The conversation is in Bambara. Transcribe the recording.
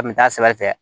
A kun bɛ taa sira fɛ